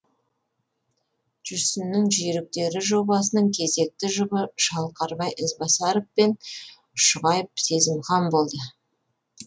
жүрсіннің жүйріктері жобасының кезекті жұбы шалқарбай ізбасаров пен шұғайып сезімхан болды